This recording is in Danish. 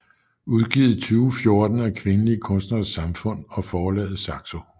Udgivet 2014 af Kvindelige Kunstneres Samfund og forlaget Saxo